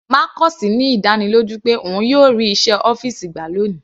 Marcus ní ìdánilójú pé òun yóò rí iṣẹ́ ọ́fìsì gbà ní òní.